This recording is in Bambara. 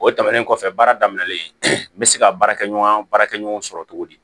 O tɛmɛnen kɔfɛ baara daminɛlen n bɛ se ka baarakɛ ɲɔgɔn baarakɛ ɲɔgɔn sɔrɔ cogo di